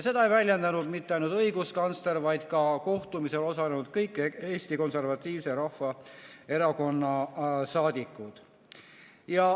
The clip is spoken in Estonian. Seda ei väljendanud mitte ainult õiguskantsler, vaid ka kohtumisel osalenud kõik Eesti Konservatiivse Rahvaerakonna saadikud.